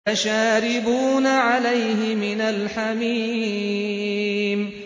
فَشَارِبُونَ عَلَيْهِ مِنَ الْحَمِيمِ